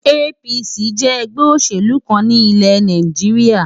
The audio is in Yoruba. APC jẹ́ ẹgbẹ́ òṣèlú kan ní ilẹ̀ Nàìjíríà.